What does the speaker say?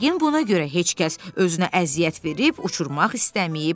Yəqin buna görə heç kəs özünə əziyyət verib uçurmaq istəməyib.